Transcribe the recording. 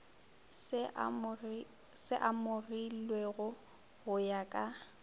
se amogilwego go ya ka